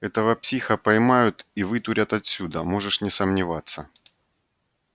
этого психа поймают и вытурят отсюда можешь не сомневаться